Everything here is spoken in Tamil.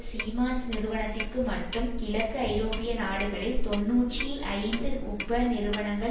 சீமன்ஸ் நிறுவனத்திற்கு மட்டும் கிழக்கு ஐரோப்பிய நாடுகளில் தொன்னூற்றி ஐந்து உபநிறுவனங்கள்